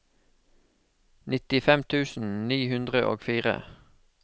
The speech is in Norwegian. nittifem tusen ni hundre og fire